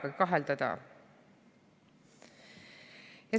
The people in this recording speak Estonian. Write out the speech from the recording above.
Lubage kahelda.